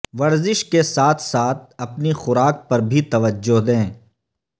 ورزش کے ساتھ ساتھ اپنی خوراک پر بھی توجہ دیں